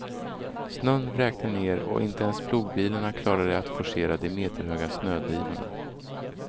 Snön vräkte ned och inte ens plogbilarna klarade att forcera de meterhöga snödrivorna.